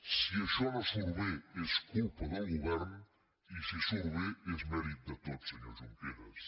si això no surt bé és culpa del govern i si surt bé és mèrit de tots senyor junqueras